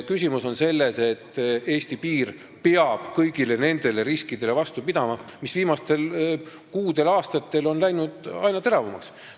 Küsimus on selles, et Eesti piir peab kõigile nendele riskidele vastu pidama, mis on viimastel kuudel ja aastatel läinud aina teravamaks.